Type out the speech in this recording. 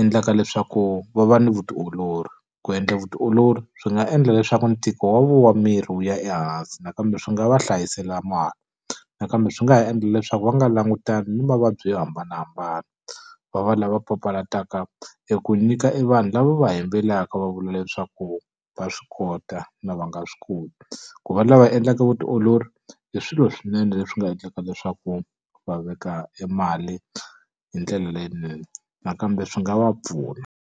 endlaka leswaku va va ni vutiolori, ku endla vutiolori swi nga endla leswaku ntiko wa miri wu ya ehansi nakambe swi nga va hlayisela mali. Nakambe swi nga ha endla leswaku va nga langutani ni mavabyi yo hambanahambana, va va lava papalataka eku nyika i vanhu lava va yimbelelaka va vula leswaku va swi kota na loko va nga swi koti. Ku va lava endlaka vutiolori, i swilo swi nene leswi nga endlaka leswaku va veka e mali hi ndlela leyinene. Nakambe swi nga va pfuna.